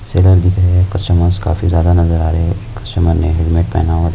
Seller दिख रहे है कस्टमरस काफी जादा नजर आ रहे है कस्टमर ने हेलमेट पहना हुआ है।